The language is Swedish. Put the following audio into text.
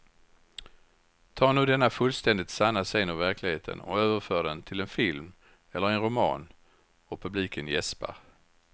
Ta nu denna fullständigt sanna scen ur verkligheten och överför den till en film eller en roman och publiken jäspar.